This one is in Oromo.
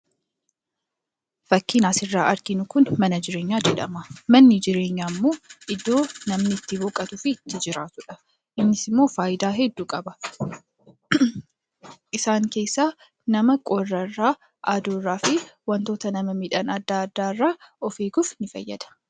Bakki asirraa arginu kun mana jireenyaa jedhama. Manni jireenyaa immoo iddoo namni utti boqotuu fi jiraatudha. Innis immoo faayidaa hedduu qaba. Isaan keessaa nama qorra irraa, aduu irraa fi wantoota nama miidhan adda addaa irraa eeguuf ni fayyada.